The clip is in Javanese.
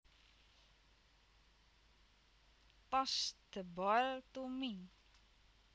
Toss the ball to me